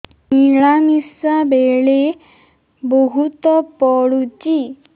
ମିଳାମିଶା ବେଳେ ବହୁତ ପୁଡୁଚି